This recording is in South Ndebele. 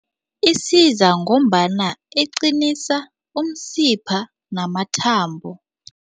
Isiza ngombana iqinisa umsipha namathambo.